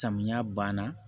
Samiya ban na